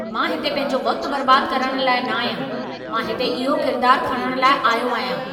मां हिते पंहिंजो वक़्त बर्बाद करण लाइ न आहियां! मां हिते इहो किरदारु खणणु लाइ आयो आहियां।